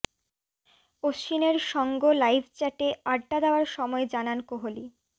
অশ্বিনের সঙ্গ লাইভ চ্যাটে আড্ডা দেওয়ার সময় জানান কোহলি